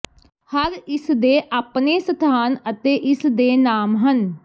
ਹਰ ਇਸ ਦੇ ਆਪਣੇ ਸਥਾਨ ਅਤੇ ਇਸ ਦੇ ਨਾਮ ਹਨ